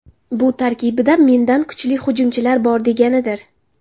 Bu tarkibda mendan kuchli hujumchilar bor, deganidir.